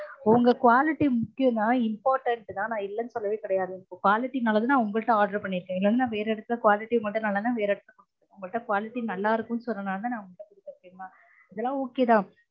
உங்க quality முக்கியம் தான் important தான் நா இல்லனு சொல்லவே கெடயாது உங்க quality நல்லது தான் உங்க கிட்ட order பண்ணிருக்கன் இல்லனா வேற எடத்துல quality மட்டும் நல்லா இருந்தா வேர எடத்துல குடுத்துருப்பேன் உங்கட quality நல்லா இருக்கும் சொன்னதுனால உங்க கிட்ட order குடுத்துருக்கேன் தெரியுமா. இதெல்லாம் okay தா